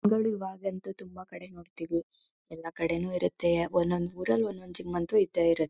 ಇವಾಗ್ ಅಂತಾ ತುಂಬಾ ಕಡೆ ನೋಡ್ತಿವಿ ಎಲ್ಲ ಕಡೆನೂ ಇರುತ್ತೆ ಒಂದೊಂದ್ ಊರಲ್ಲಿ ಒಂದ್ ಒಂದ್ ಜಿಮ್ ಅಂತೂ ಇದ್ದೆ ಇರುತ್ತೆ